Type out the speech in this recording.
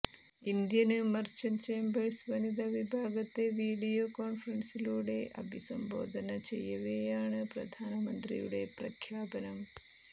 Indian merchant chambers വനിതാവിഭാഗത്തെ video കോണ്ഫറന്സിലൂടെ അഭിസംബോധന ചെയ്യവേയാണ് പ്രധാനമന്ത്രിയുടെ പ്രഖ്യാപനം